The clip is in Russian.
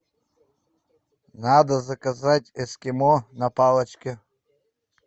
надо заказать эскимо на палочке